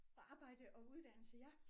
Arbejde og uddannelse ja